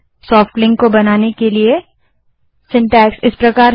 soft link बनाने के लिए ल्न कमांड का रचनाक्रम सिन्टैक्स इस प्रकार है